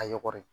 A y'ɔri